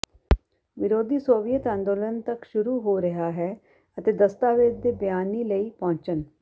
ਵਿਰੋਧੀ ਸੋਵੀਅਤ ਅੰਦੋਲਨ ਤੱਕ ਸ਼ੁਰੂ ਹੋ ਰਿਹਾ ਹੈ ਅਤੇ ਦਸਤਾਵੇਜ਼ ਦੇ ਿਬਆਨੀ ਲਈ ਪਹੁੰਚਣ